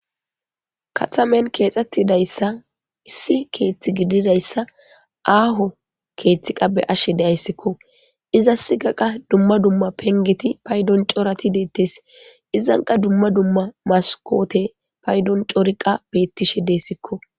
kathamen keexxettidayssa issi keeththi gididayssa aaho keeththi ta beyashshe deayssikko iza siga qa dumma dumma pengeti paydon corati deettes izanqa dumma dumma maskoote paydon coriqa beettishe deessikko